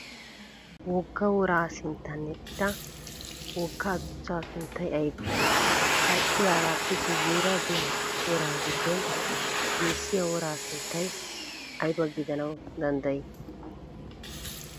Wogga woraa sinttan eqqida wogga adussaa sunttay ayibee? Ha eqqidaagaappe guyyeera diya woraa giddon geessiya woraa sunttay ayiba gidanawu danddayii?